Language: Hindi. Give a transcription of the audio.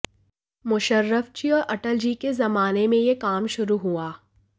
मुशर्रफ जी और अटल जी के जमाने में यह काम शुरू हुआ